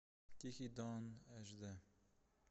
тихий дон эш дэ